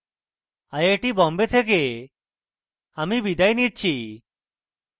I I Bombay থেকে আমি বিদায় নিচ্ছি